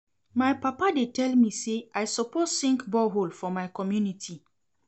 My papa dey tell me sey I suppose sink borehole for my community.